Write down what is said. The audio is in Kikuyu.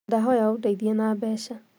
Ndahoya ũndeithie na mbeca